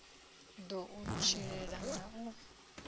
ḓo u tshilela na u